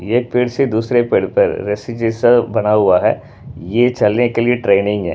ये एक पेड़ से दूसरे पेड़ पर रस्सी जैसा बना हुआ है यह चलने के लिए ट्रेनिंग है।